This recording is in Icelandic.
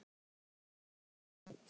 Í